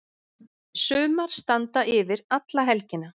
Sumar standa yfir alla helgina.